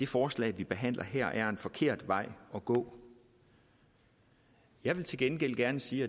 forslag vi behandler her er en forkert vej at gå jeg vil til gengæld gerne sige